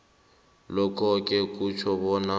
lokhoke kutjho bona